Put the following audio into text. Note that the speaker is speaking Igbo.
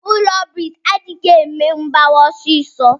Ụlọ briks adighi eme mgbawa ọsisọ.